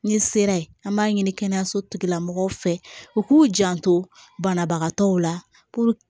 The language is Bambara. Ni sera ye an b'a ɲini kɛnɛyaso tigila mɔgɔw fɛ u k'u janto banabagatɔw la